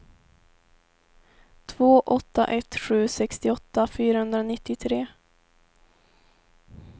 två åtta ett sju sextioåtta fyrahundranittiotre